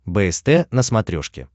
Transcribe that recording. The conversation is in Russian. бст на смотрешке